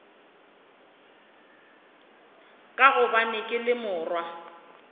ka gobane ke le morwa